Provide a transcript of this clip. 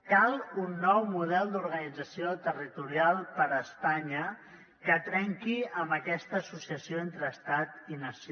cal un nou model d’organització territorial per a espanya que trenqui amb aquesta associació entre estat i nació